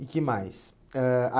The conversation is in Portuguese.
E que mais? Ãh a